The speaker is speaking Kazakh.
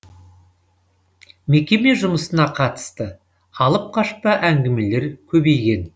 мекеме жұмысына қатысты алып қашпа әңгімелер көбейген